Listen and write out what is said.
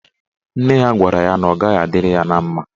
Nne ya gwara ya na ọ gaghị adịrị ya na mma.